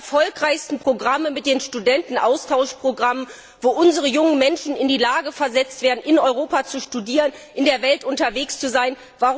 Eines der erfolgreichsten Programme ist das Studentenaustauschprogramm, mit dem unsere jungen Menschen in die Lage versetzt werden, in Europa zu studieren, in der Welt unterwegs zu sein.